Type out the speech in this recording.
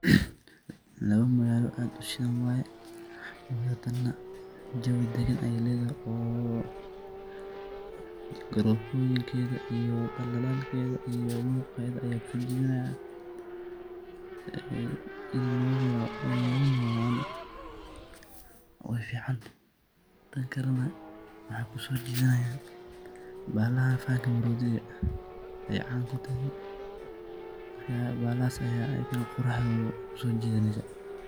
Labo magaalo aad uu shidhaan waye . Oo hadane jawii dagaan aya leeda oo garofoyinkeda iyo daldalalkeda iyo muqeeda aya kusojidanaya een iin lugu nolado neh waay fican taan kale neh maxa kusojidana bahalaha fanka maroodigaa aay caan kutahay marka bahalahas egen quruxdoda kusojidaneysaa.